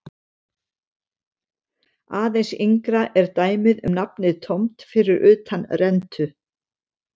Aðeins yngra er dæmið um nafnið tómt fyrir utan rentu.